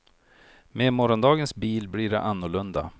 Med morgondagens bil blir det annorlunda.